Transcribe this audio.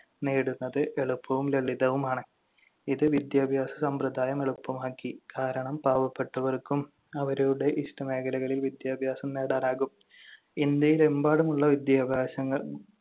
നേടുന്നത് എളുപ്പവും ലളിതവുമാണ്. ഇത് വിദ്യാഭ്യാസ സമ്പ്രദായം എളുപ്പമാക്കി. കാരണം പാവപ്പെട്ടവർക്കും അവരുടെ ഇഷ്ടമേഖലകളിൽ വിദ്യാഭ്യാസം നേടാനാകും. ഇന്ത്യയിലെമ്പാടുമുള്ള വിദ്യാഭ്യാസങ്ങൾ